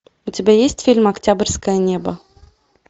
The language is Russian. у тебя есть фильм октябрьское небо